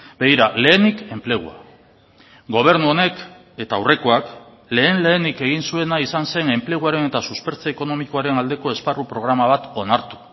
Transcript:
begira lehenik enplegua gobernu honek eta aurrekoak lehen lehenik egin zuena izan zen enpleguaren eta suspertze ekonomikoaren aldeko esparru programa bat onartu